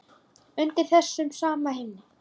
Undir þessum sama himni.